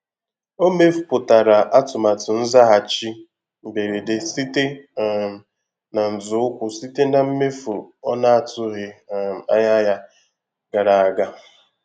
O mepụtara atụmatụ nzaghachi mberede site um na nzọụkwụ site na mmefu ọ na-atụghị um anya ya gara aga.